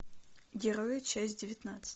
герои часть девятнадцать